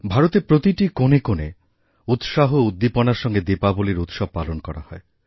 ভারতের প্রতিটি কোণে কোণে উৎসাহ ও উদ্দীপনার সঙ্গে দীপাবলীর উৎসব পালনকরা হয়